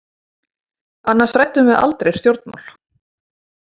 Annars ræddum við aldrei stjórnmál.